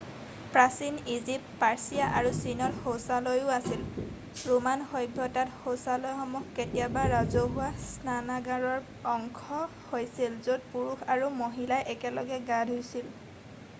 প্ৰাচীন Egypt Persia আৰু চীনত শৌচালয়ো আছিল ৰোমান সভ্যতাত শৌচালয়সমূহ কেতিয়াবা ৰাজহুৱা স্নানাগাৰৰ অংশ হৈছিল য'ত পুৰুষ আৰু মহিলাই একেলগে গা ধূইছিল